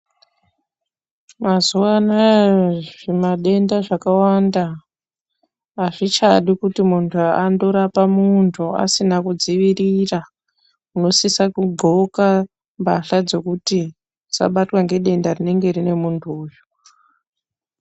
Mazuva anaya zvimadenda zvakawanda hazvichadi kuti muntu andorapa muntu asina kudziirira unosisa kudxoka mbahla dzokuti usabatwa nedenda rinenge rine muntu uyu.